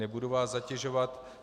Nebudu vás zatěžovat.